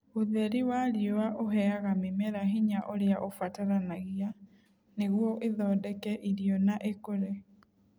Ũtheri wa riũa ũheaga mĩmera hinya ũrĩa ũbataranagia nĩguo ithondeke irio na ikũre.